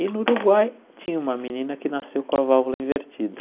E no Uruguai tinha uma menina que nasceu com a válvula invertida.